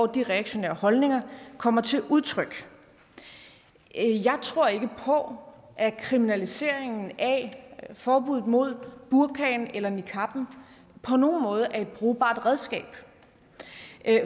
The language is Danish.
de reaktionære holdninger kommer til udtryk jeg tror ikke på at kriminaliseringen af og forbuddet mod burkaen eller niqaben på nogen måde er et brugbart redskab